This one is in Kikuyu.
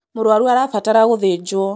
Mũrwaru arabatara gũthĩnjwo